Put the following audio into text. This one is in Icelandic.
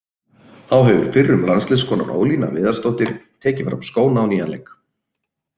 Þá hefur fyrrum landsliðskonan Ólína Viðarsdóttir tekið fram skóna á nýjan leik.